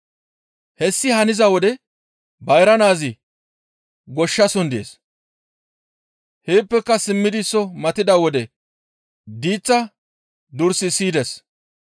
«Hessi haniza wode bayra naazi goshshason dees; heeppeka simmidi soo matida wode diiththa duris siyides.